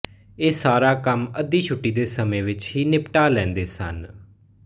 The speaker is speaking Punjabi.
ਇਹ ਸਾਰਾ ਕੰਮ ਅੱਧੀ ਛੁੱਟੀ ਦੇ ਸਮੇਂ ਵਿੱਚ ਹੀ ਨਿਪਟਾ ਲੈਂਦੇ ਸਨ